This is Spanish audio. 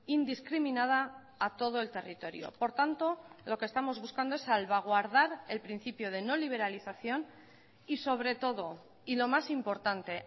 indiscriminada a todo el territorio por tanto lo que estamos buscando es salvaguardar el principio de no liberalización y sobre todo y lo más importante